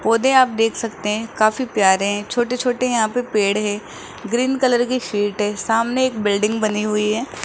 पौधै आप देख सकते है काफी प्यारे छोटे छोटे यहाँ पर पेड़ हैं ग्रीन कलर की शिट हैं सामने एक बिल्डिंग बनी हुई हैं।